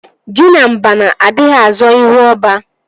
Ji na abana adịghị azọ ihu ọba